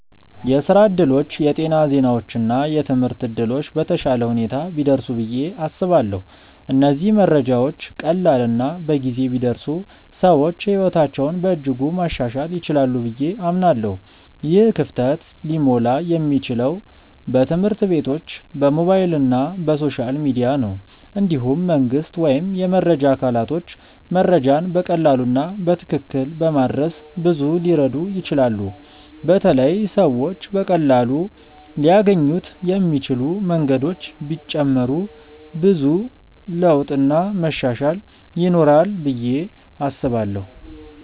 የስራ እድሎች፣ የጤና ዜናዎች እና የትምህርት እድሎች በተሻለ ሁኔታ ቢደርሱ ብዬ አስባለሁ። እነዚህ መረጃዎች ቀላል እና በጊዜ ቢደርሱ ሰዎች ሕይወታቸውን በእጅጉ ማሻሻል ይችላሉ ብዬ አምናለሁ። ይህ ክፍተት ሊሞላ የሚችለው በትምህርት ቤቶች፣ በሞባይል እና በሶሻል ሚዲያ ነው። እንዲሁም መንግስት ወይም የመረጃ አካላቶች መረጃን በቀላሉ እና በትክክል በማድረስ ብዙ ሊረዱ ይችላሉ በተለይ ሰዎች በቀላሉ ሊያገኙት የሚችሉ መንገዶች ቢጨመሩ ብዙ ለውጥ እና መሻሻል ይኖራል ብዬ አስባለው።